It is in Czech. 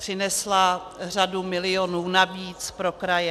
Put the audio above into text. Přinesla řadu milionů navíc pro kraje.